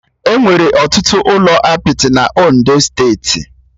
Enwere ọtụtụ ụlọ apịtị na Ondo steeti